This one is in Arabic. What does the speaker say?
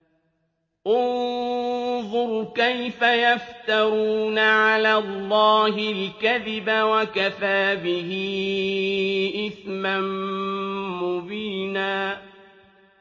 انظُرْ كَيْفَ يَفْتَرُونَ عَلَى اللَّهِ الْكَذِبَ ۖ وَكَفَىٰ بِهِ إِثْمًا مُّبِينًا